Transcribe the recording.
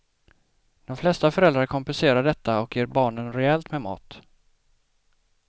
De flesta föräldrar kompenserar detta och ger barnen rejält med mat.